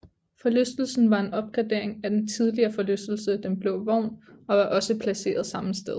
Forlystelsen var en opgradering af den tidligere forlystelse Den Blå Vogn og var også placeret samme sted